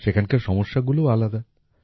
সেখানকার সমস্যাগুলোও আলাদা